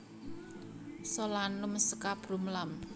Solanum scabrum Lam